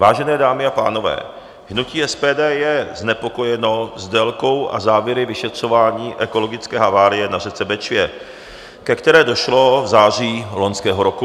Vážené dámy a pánové, hnutí SPD je znepokojeno délkou a závěry vyšetřování ekologické havárie na řece Bečvě, ke které došlo v září loňského roku.